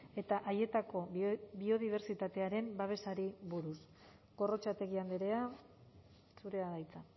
eta haietako biodibertsitatearen babesari buruz gorrotxategi andrea zurea da hitza